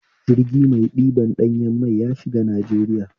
Jirgi mai ɗibar ɗanyan mai yashiga Najeriya